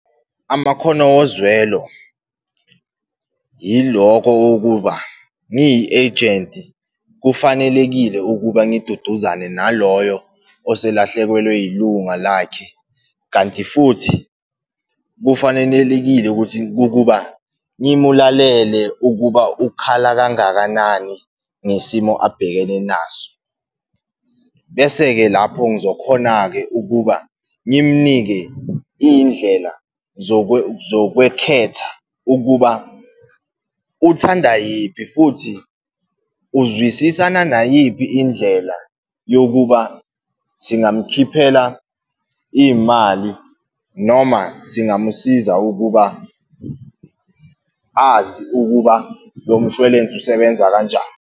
Amakhono wozwelo, yiloko wokuba ngiyi-agent-i kufanelekile ukuba ngiduduzane naloyo oselahlekelwe yilunga lakhe. Kanti futhi kufanenelekile ukuthi ukuba ngimulalele ukuba ukhala kangakanani ngesimo abhekene naso. Bese-ke lapho ngizokhona-ke ukuba ngimunike indlela zokwekhetha ukuba uthanda yiphi, futhi uzwisisana nayiphi indlela yokuba singamkhiphela iy'mali, noma singamusiza ukuba azi ukuba lo mshwelense usebenza kanjani.